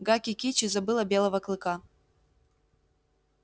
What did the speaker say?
гаки кичи забыла белого клыка